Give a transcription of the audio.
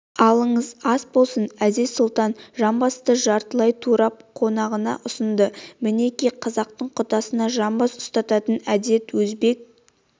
алыңыз ас болсын әзиз-сұлтан жамбасты жартылай турап қонағына ұсынды мінеки қазақтың құдасына жамбас ұстататын әдет өзбек